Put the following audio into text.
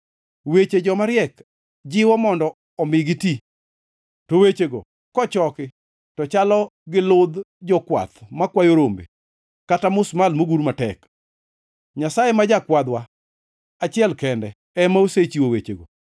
Weche joma riek jiwo mondo omi giti; to wechego kochoki to chalo gi ludh jokwadh makwayo rombe kata musmal mogur matek. Nyasaye ma jakwadhwa achiel kende ema osechiwo wechego.